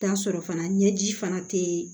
Taa sɔrɔ fana ɲɛji fana tɛ